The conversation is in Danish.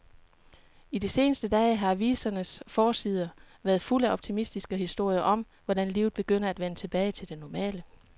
I de seneste dage har avisernes forsider været fulde af optimistiske historier om, hvordan livet begynder at vende tilbage til det normale.